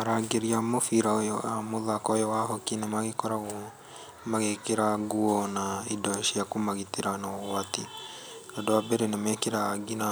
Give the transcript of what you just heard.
Arangĩri a mũbira ũyũ wa mũthako ũyũ wa hockey nĩ magĩkoragwo magĩkĩra nguo na indo cia kũmagitĩra na ũgwati. Andũ a mbere nĩ mekĩraga nginya